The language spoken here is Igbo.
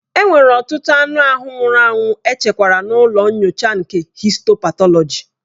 Enwere ọtụtụ anụ ahụ nwụrụ anwụ echekwara n'ụlọ nyocha nke histo patọlọji.